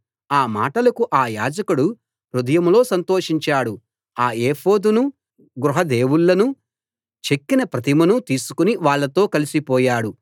ఆ మాటలకు అ యాజకుడు హృదయంలో సంతోషించాడు ఆ ఎఫోదునూ గృహ దేవుళ్ళనూ చెక్కిన ప్రతిమనూ తీసుకుని వాళ్ళతో కలసి పోయాడు